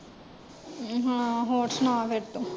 ਹਾਂ ਹੋਰ ਸੁਣਾ ਫੇਰ ਤੂੰ।